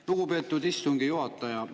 Lugupeetud istungi juhataja!